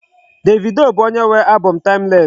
Davido bụ onye nwe album m Timeless.